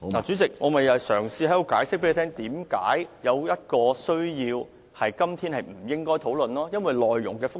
主席，我正嘗試向你解釋為何《條例草案》有需要不在今天作出辯論，因為其內容複雜。